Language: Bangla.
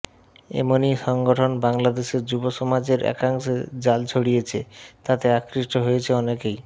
এমনই সংগঠন বাংলাদেশের যুব সমাজের একাংশে জাল ছড়িয়েছে তাতে আকৃষ্ট হয়েছে অনেকেই